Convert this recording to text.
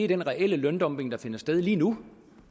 den reelle løndumping der finder sted lige nu